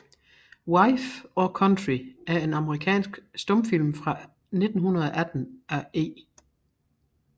Wife or Country er en amerikansk stumfilm fra 1918 af E